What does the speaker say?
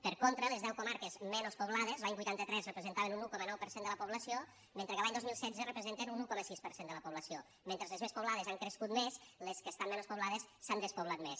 per contra les deu comarques menys poblades l’any vuitanta tres representaven un un coma nou per cent de la població mentre que l’any dos mil setze representen un un coma sis per cent de la població mentre les més poblades han crescut més les que estan menys poblades s’han despoblat més